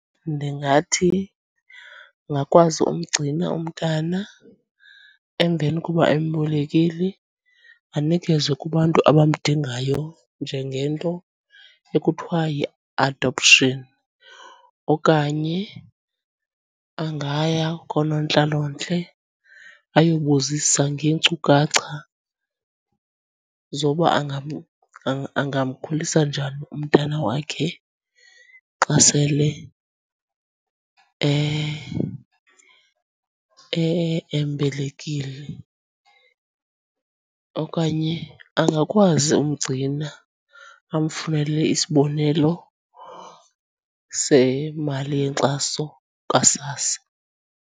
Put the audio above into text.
Ndingathi ungakwazi umgcina umntana. Emveni koba embelekile, anikezwe kubantu abamdingayo njengento ekuthiwa yi-adoption. Okanye angaya koonontlalontle ayobuzisa ngeenkcukacha zoba angamkhulisa njani umntana wakhe xa sele embelekile. Okanye angakwazi umgcina amfunele isibonelo semali yenkxaso kaSASSA.